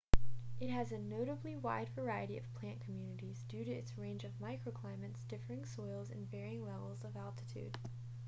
it has a notably wide variety of plant communities due to its range of microclimates differing soils and varying levels of altitude